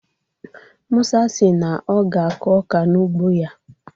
Musa si na ọ ga-akụ ọka n'ugbo ya.